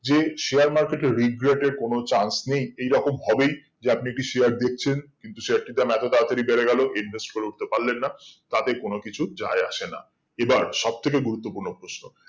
যে share market এ regret এর কোনো chance নেই এই রকম হবেই যে আপনি একটা share দেখছেন কিন্তু share টির দাম এত তারা তারি বেরে গেল invest করে উটতে পারলেন না তাতে কোনো কিছু যাই আসে না এবার সব থেকে গুরুত্ব পূর্ণ ঘোষণা